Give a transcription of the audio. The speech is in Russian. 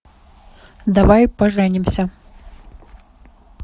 давай поженимся